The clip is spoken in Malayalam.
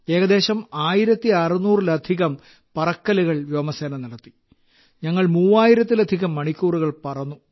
ഏകദേശം 1600 ലധികം പറക്കലുകൾ വ്യോമസേന നടത്തി ഞങ്ങൾ 3000 ലധികം മണിക്കൂറുകൾ പറന്നു